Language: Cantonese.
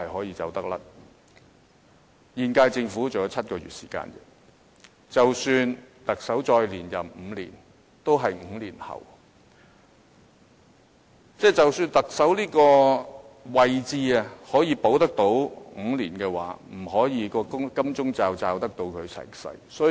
現屆政府還有7個月時間，即使特首再連任5年，也是5年後，即使特首這個位置可以保住他5年，這個金鐘罩也不能保住他一輩子。